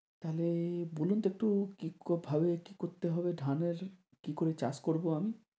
তাহলে বলুন তো একটু কিভাবে কি করতে হবে ধানের কি করে চাষ করবো আমি?